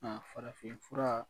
Farafin fura